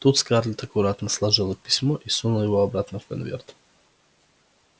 тут скарлетт аккуратно сложила письмо и сунула его обратно в конверт